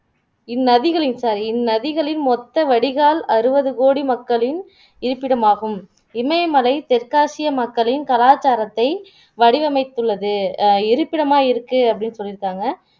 இந்நதிகளின் sorry இந்நதிகளின் மொத்த வடிகால் அறுபதுகோடி மக்களின் இருப்பிடமாகும் இமயமலை தெற்காசிய மக்களின் கலாச்சாரத்தை வடிவமைத்துள்ளது அஹ் இருப்பிடமாய் இருக்கு அப்படின்னு சொல்லிருக்காங்க